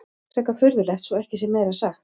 Frekar furðulegt svo ekki sé meira sagt.